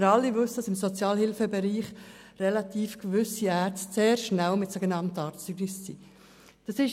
Wir alle wissen, dass gewisse Ärzte im Sozialhilfebereich relativ schnell mit sogenannten Arztzeugnissen zur Hand sind.